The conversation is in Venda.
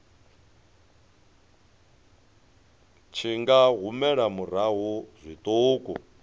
tshi nga humela murahu zwiṱuku